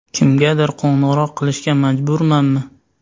Kimgadir qo‘ng‘iroq qilishga majburmanmi?